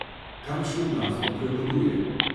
Kakšna glasba prevladuje?